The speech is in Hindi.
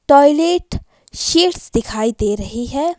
टॉयलेट सीट्स दिखाई दे रही है।